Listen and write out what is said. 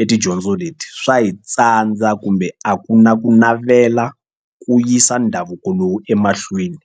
e tidyondzo leti swa hi tsandza kumbe a ku na ku navela ku yisa ndhavuko lowu emahlweni.